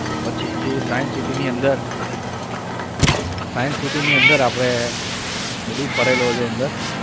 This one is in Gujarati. પછી science city ની અંદર science city ની અંદર આપણે બધું ફરેલો છું અંદર.